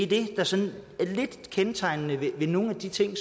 det der sådan lidt kendetegner nogle af de ting